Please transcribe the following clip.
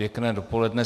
Pěkné dopoledne.